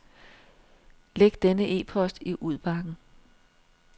Læg denne e-post i udbakken.